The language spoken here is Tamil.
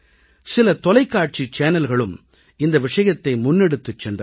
சில தொலைக்காட்சி சேனல்களும் இந்த விஷயத்தை முன்னெடுத்துச் சென்றார்கள்